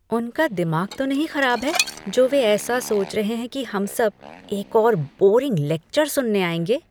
उनका दिमाग तो नहीं खराब है जो वे ऐसा सोच रहे हैं कि हम सब एक और बोरिंग लेक्चर सुनने आएँगे?